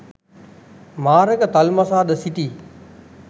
මාරක තල්මසා ද සිටියි.